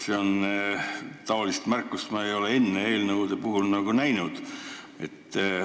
Sellist märkust ma ei ole enne eelnõude puhul näinud.